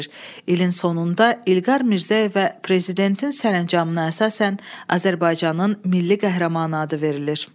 İlin sonunda İlqar Mirzəyevə prezidentin sərəncamına əsasən Azərbaycanın Milli Qəhrəmanı adı verilir.